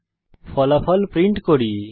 তারপর আমরা ফলাফল প্রিন্ট করি